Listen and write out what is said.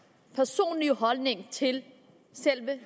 personlige holdning til selve